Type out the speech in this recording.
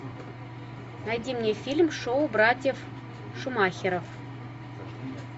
найди мне фильм шоу братьев шумахеров